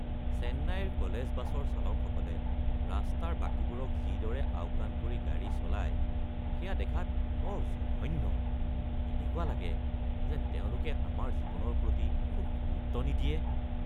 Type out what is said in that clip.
চেন্নাইৰ কলেজ বাছৰ চালকসকলে ৰাস্তাৰ বাকীবোৰক যিদৰে আওকাণ কৰি গাড়ী চলাই সেয়া দেখাত বৰ জঘন্য। এনেকুৱা লাগে যেন তেওঁলোকে আমাৰ জীৱনৰ প্ৰতি কোনো গুৰুত্ব নিদিয়ে।